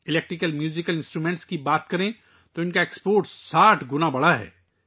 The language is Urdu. برقی موسیقی کے آلات کے بارے میں بات کریں تو ان کی برآمدات میں 60 گنا اضافہ ہوا ہے